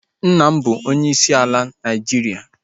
Nna m bụ onyeisi ala Naịjiria